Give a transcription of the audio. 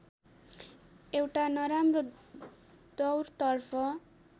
एउट नराम्रो दौरतर्फ